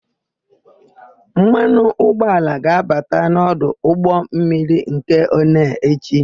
Mmanụ ụgbọala ga-abata n'ọdụ ụgbọmmiri nke Onee echi.